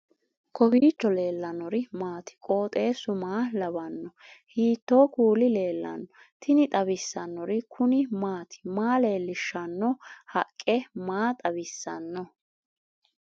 kowiicho leellannori maati ? qooxeessu maa lawaanno ? hiitoo kuuli leellanno ? tini xawissannori kuni maati maa leellishshanno haqqe maa xawissanno